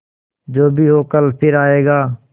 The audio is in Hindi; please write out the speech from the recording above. जो भी हो कल फिर आएगा